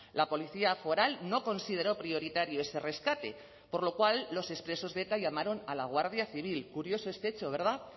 la policía foral no consideró prioritario ese rescate por lo cual los expresos de eta llamaron a la guardia civil curioso este hecho verdad